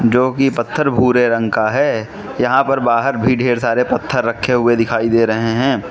जो कि पत्थर भूरे रंग का है यहाँ पर बाहर भी ढेर सारे पत्थर रखे हुए दिखाई दे रहे हैं।